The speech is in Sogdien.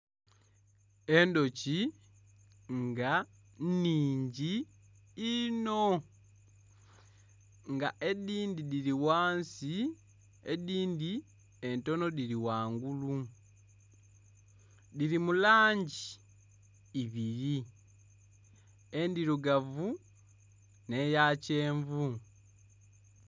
Endhuki nga nnhingi inho nga edhindhi dhiri ghansi edhindhi entono dhiri ghangulu dhiri mulangi ibiri endhirugavu n'eya kyenvu.